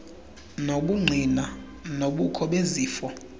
nobungqina bobukho bezifo